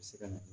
se ka na